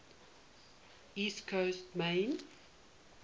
east coast maine